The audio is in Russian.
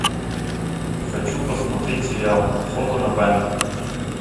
хочу посмотреть сериал фото на память